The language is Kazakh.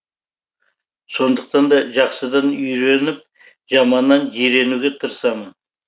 сондықтан да жақсыдан үйреніп жаманнан жиренуге тырысамын